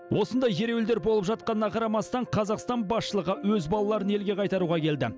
осындай ереуілдер болып жатқанына қарамастан қазақстан басшылығы өз балаларын елге қайтаруға келді